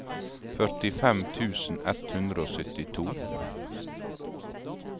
førtifem tusen ett hundre og syttito